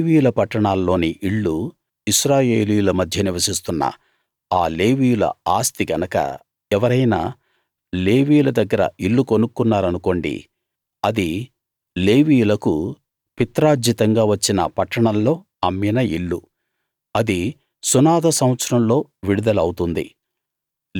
లేవీయుల పట్టణాల్లోని ఇళ్ళు ఇశ్రాయేలీయుల మధ్య నివసిస్తున్న ఆ లేవీయుల ఆస్తి గనక ఎవరైనా లేవీయుల దగ్గర ఇల్లు కొనుక్కున్నారనుకోండి అది లేవీయులకు పిత్రార్జితంగా వచ్చిన పట్టణంలో అమ్మిన ఇల్లు అది సునాద సంవత్సరంలో విడుదల అవుతుంది